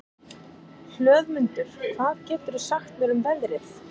Hlöðmundur, hvað geturðu sagt mér um veðrið?